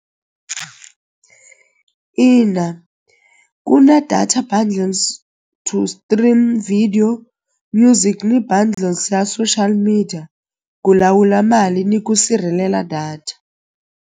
Ina ku na data bundles to stream video music ni bundles ya social media ku lawula mali ni ku sirhelela data.